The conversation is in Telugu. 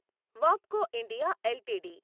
వాబ్కో ఇండియా ఎల్టీడీ